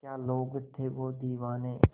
क्या लोग थे वो दीवाने